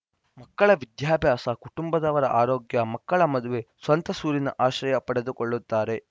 ಮಕ್ಕಳ ವಿದ್ಯಾಭ್ಯಾಸ ಕುಟಂಬದವರ ಆರೋಗ್ಯ ಮಕ್ಕಳ ಮದುವೆ ಸ್ವಂತ ಸೂರಿನ ಆಶ್ರಯ ಪಡೆದುಕೊಳ್ಳುತ್ತಾರೆ